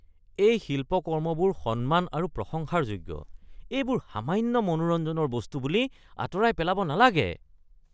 এই শিল্পকৰ্মবোৰ সন্মান আৰু প্ৰশংসাৰ যোগ্য, এইবোৰ সামান্য মনোৰঞ্জনৰ বস্তু বুলি আঁতৰাই পেলাব নালাগে।